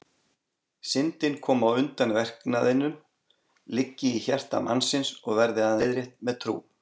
Syndin komi á undan verknaðinum, liggi í hjarta mannsins og verði aðeins leiðrétt með trú.